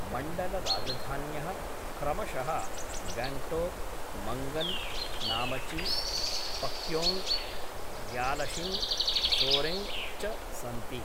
मण्डलराजधान्यः क्रमशः गङ्गटोक्, मङ्गन्, नामचि, पाक्योङ्ग्, ग्यालशिङ्ग्, सोरेङ्ग् च सन्ति।